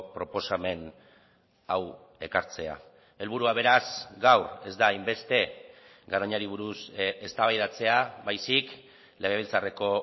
proposamen hau ekartzea helburua beraz gaur ez da hainbeste garoñari buruz eztabaidatzea baizik legebiltzarreko